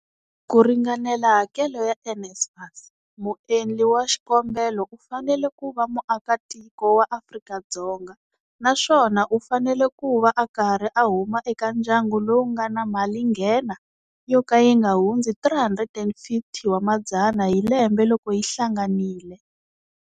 Ku ringanela hakelo ya NSFAS, muendli wa xikombelo u fanele kuva muaka tiko wa Afrika-Dzonga naswona u fanele ku va a karhi a huma eka ndyangu lowu nga na malinghena yo ka yi nga hundzi R350 000 hi lembe loko yi hlanganile.